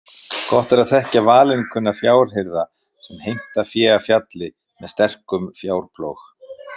Gott er að þekkja valinkunna fjárhirða sem heimta fé af fjalli með sterkum fjárplóg.